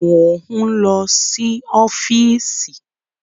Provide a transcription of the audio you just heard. Mo ń lọ sí ọ́fíìsì